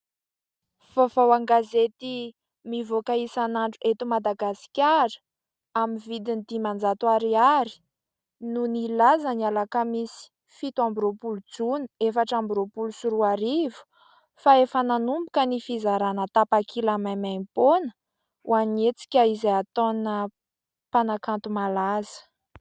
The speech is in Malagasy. Vaovao an-gazety mivoaka isanandro eto Madagasikara, amin'ny vidiny dimanjato ariary no nilaza ny alakamisy fito amby roapolo jona, efatra amby roapolo sy roa arivo fa efa nanomboka ny fizarana tapakila maimaimpoana ho an'ny hetsika izay ataona mpanakanto malaza.